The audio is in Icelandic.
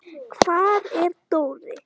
Hvar er Dóri?